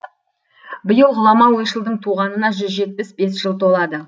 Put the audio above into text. биыл ғұлама ойшылдың туғанына жүз жетпіс бес жыл толады